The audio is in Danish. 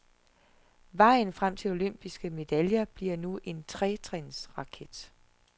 Vejen frem til olympiske medaljer bliver nu en tretrinsraket.